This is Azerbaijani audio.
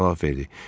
Tom cavab verdi.